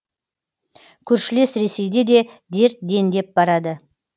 көршілес ресейде де дерт дендеп барады